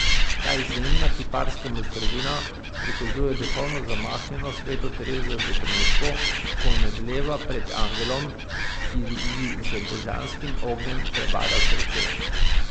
Ta izjemna kiparska mojstrovina prikazuje duhovno zamaknjeno sveto Terezijo v trenutku, ko omedleva pred angelom, ki ji z božanskim ognjem prebada srce.